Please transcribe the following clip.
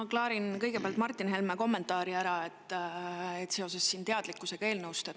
Ma klaarin kõigepealt ära Martin Helme kommentaari teadlikkuse kohta.